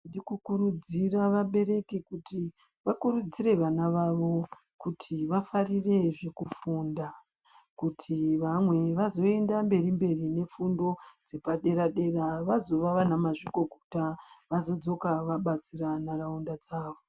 Tinokurudzira vabereki kuti vakurudzire vana vavo kuti vafarire zvekufunda kuti vamwe vazoenda mberi mberi nefundo dzepadera dera vazova ana mazvikokota vazodsoka vabatsira nharaunda dzawo.